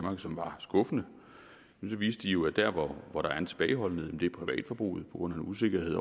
og som var skuffende viste de jo at der hvor der er tilbageholdenhed privatforbruget på grund af usikkerhed